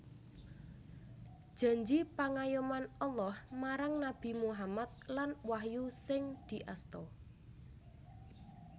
Janji pangayoman Allah marang Nabi Muhammad lan wahyu sing diasta